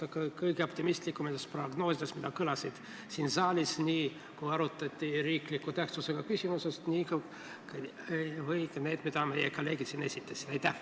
Seda väideti ka kõige optimistlikumates prognoosides, mis kõlasid siin saalis, kui arutati olulise riikliku tähtsusega küsimust, ja ka nendes, mis meie kolleegid siin esitasid.